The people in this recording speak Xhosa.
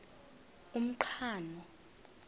umqhano